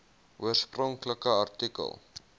oorspronklike artikel